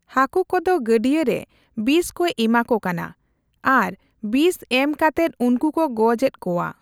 ᱦᱟᱹᱠᱩ ᱠᱚᱫᱚ ᱜᱟᱹᱰᱭᱟᱹ ᱨᱮ ᱵᱤᱥ ᱠᱚ ᱮᱢᱟ ᱠᱩ ᱠᱟᱱᱟ ᱾ ᱟᱨ ᱵᱤᱥ ᱮᱢ ᱠᱟᱛᱮᱫ ᱩᱱᱠᱩ ᱠᱚ ᱜᱚᱡ ᱮᱫ ᱠᱚᱣᱟ ᱾